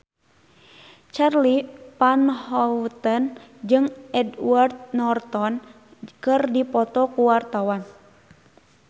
Charly Van Houten jeung Edward Norton keur dipoto ku wartawan